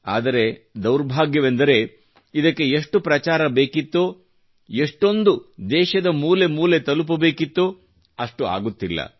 ಆದರೆ ದುರ್ಭಾಗ್ಯವೆಂದರೆ ಇದಕ್ಕೆ ಎಷ್ಟು ಪ್ರಚಾರ ಬೇಕಿತ್ತೋ ಎಷ್ಟೋದು ದೇಶದ ಮೂಲೆ ಮೂಲೆ ತಲುಪಬೇಕಿತ್ತೋ ಅಷ್ಟು ಆಗುತ್ತಿಲ್ಲ